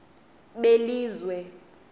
belizwe